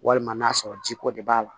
Walima n'a sɔrɔ jiko de b'a la